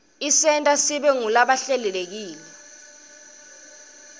isenta sibe ngulabahlelekile